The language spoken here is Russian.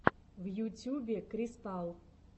в ютюбе кристал